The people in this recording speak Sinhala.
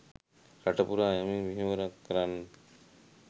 රට පුරා යම් මෙහෙවරක් කරන්නට